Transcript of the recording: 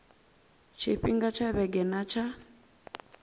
tshifhinga tsha vhege nna tsha